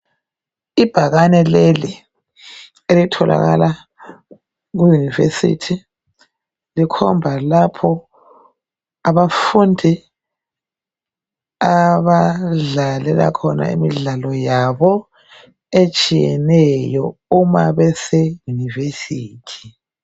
ibhakane leli elitholakala ku university likhomba lapho abafundi abadlalela khona imidlalo yabo etshiyeneyo uma bese university